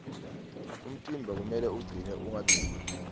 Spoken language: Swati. umtimba kumele ucine ungabi lula